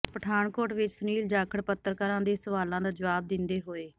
ਪਠਾਨਕੋਟ ਵਿੱਚ ਸੁਨੀਲ ਜਾਖੜ ਪੱਤਰਕਾਰਾਂ ਦੇ ਸਵਾਲਾਂ ਦਾ ਜਵਾਬ ਦਿੰਦੇ ਹੋਏ